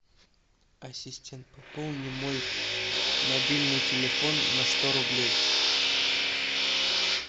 ассистент пополни мой мобильный телефон на сто рублей